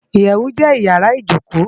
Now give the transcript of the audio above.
Iyèwú jè iyàrá ijókó